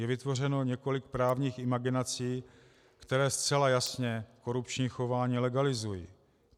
Je vytvořeno několik právních imaginací, které zcela jasně korupční chování legalizují.